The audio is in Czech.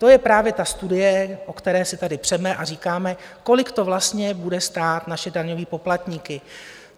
To je právě ta studie, o které si tady přeme a říkáme, kolik to vlastně bude stát naše daňové poplatníky.